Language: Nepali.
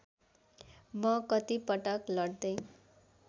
म कतिपटक लड्दै